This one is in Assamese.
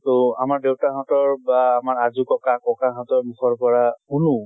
তʼ আমাৰ দেউতা হঁতৰ বা আমাৰ আজো ককা ককাহঁতৰ মুখৰ পৰা শুনো